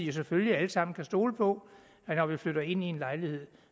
vi selvfølgelig alle sammen kunne stole på at når vi flytter ind i en lejlighed